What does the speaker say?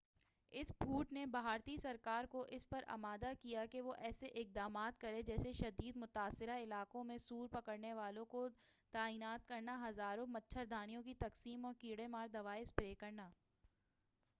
اس پھوٹ نے بھارتی سرکار کو اس پر آمادہ کیا کہ وہ ایسے اقدامات کرے جیسے شدید متاثرہ علاقوں میں سور پکڑنے والوں کو تعینات کرنا ہزاروں مچھردانیوں کی تقسیم اور کیڑے مار دوائیں اسپرے کرنا